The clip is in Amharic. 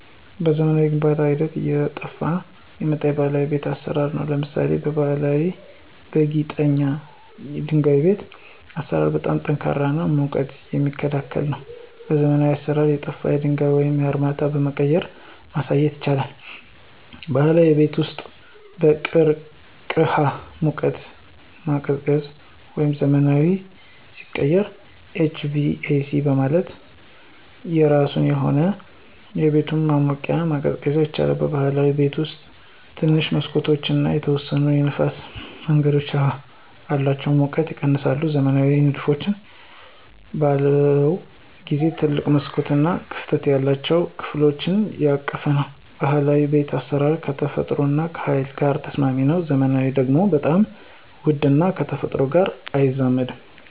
በዘመናዊ የግንባታ ሂደት ውስጥ አየጠፍ የመጣው የባህላዊ የቤት አሰራር አሉ። ለምሳሌ ባሀላዊ በጊጠኛ ድንጋይ የቤት አሰራር በጣም ጠንካራ እና ሙቀት የሚክላከል ነው። በዘመናዊ አሰራር የጠፍው ድንጋዩ ወደ አርማታ በመቀየራ ማሳየት ይቻላል። ባህላዊ የቤት ውስጥ በቅርቅህ ሙቀት ማቀዝቀዚያ ወደ ዘመናዊ ሲቀየር HVAC ማለት የራሱ የሆነ አቤቱታ ማሞቅና መቀዝቀዝ ይችላል። በብህላዊ ቤት ውስጥ ትንሽ መሠኮቶች እና የተወሰነ የንፍስ መንገድ አላቸው ሙቀቱም ይቀነሳል። ዘመናዊ ንድፎች በለውን ጊዜው ትልቅ መስኮቶች እና ክፍት የሆኑ ከፍሎች ያቀፈ ነው። ባህላዊ የቤት አስራር ከተፈጥሮ ጋር ከሀይል ጋር ተስማሚ ነው። ዘመናዊ ደግሞ በጣም ውድ እና ከተፈጥሮ ጋር አይዛመድም።